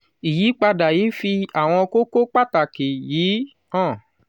ìyípadà yìí fi àwọn kókó pàtàkì yìí hàn